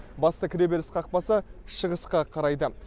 басты кіреберіс қақпасы шығысқа қарайды